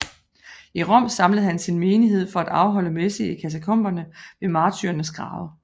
I Rom samlede han sin menighed for at afholde messe i katakomberne ved martyrernes grave